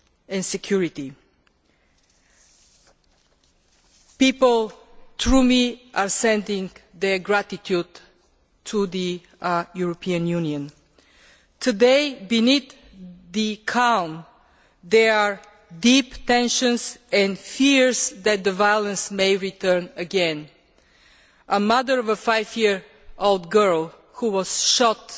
and security. Through me, people send their gratitude to the European Union. Today, beneath the calm, there are deep tensions and fears that the violence may return again. A mother of a five year old girl who was shot